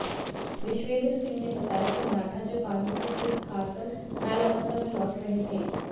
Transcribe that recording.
विश्वेंद्र सिंह ने बताया कि मराठा जब पानीपत युद्ध हारकर घायलावस्था में लौट रहे थे